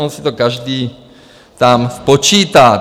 On si to každý tam spočítá.